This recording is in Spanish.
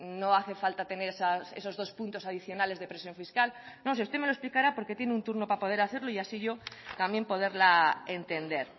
no hace falta tener esos dos puntos adicionales de presión fiscal no si usted me lo explicará porque tiene un turno para poder hacerlo y así yo también poderla entender